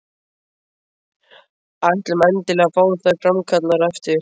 Ætlum endilega að fá þær framkallaðar á eftir.